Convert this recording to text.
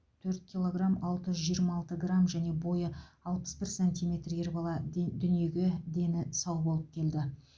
төрт килограмм алты жүз жиырма алты грамм және бойы алпыс бір сантиметр ер бала ден дүниеге дені сау болып келді